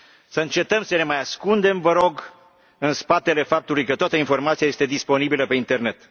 Să încetăm să ne mai ascundem, vă rog, în spatele faptului că toată informația este disponibilă pe Internet.